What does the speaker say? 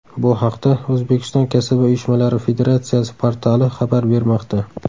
Bu haqda O‘zbekiston Kasaba uyushmalari Federatsiyasi portali xabar bermoqda .